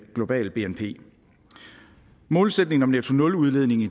globale bnp målsætningen om nettonuludledning i